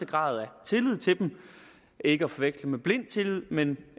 grad tillid til dem ikke at forveksle med blind tillid men